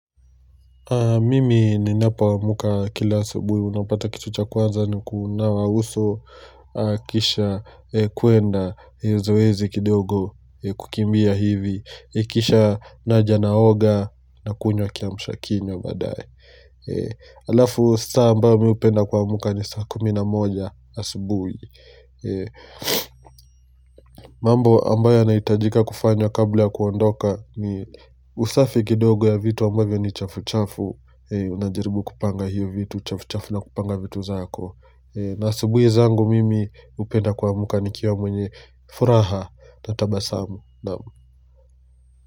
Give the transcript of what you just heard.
Mimi ninapoamka kila asubuhi, unapata kitu cha kwanza ni kuunawa uso kisha kuenda zoezi kidogo kukimbia hivi, kisha Naja naoga na kunywa kiamshakinywa baadaye. Alafu saa ambayo mi hupenda kuamka ni saa kumi na moja asubuhi. Mambo ambayo yanahitajika kufanywa kabla kuondoka ni usafi kidogo ya vitu ambavyo ni chafu chafu unajaribu kupanga hiyo vitu chafu chafu na kupanga vitu zako na asubuhi zangu mimi hupenda kuamka nikiwa mwenye furaha na tabasamu.